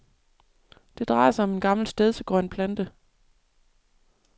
Det drejer sig om en gammel stedsegrøn plante.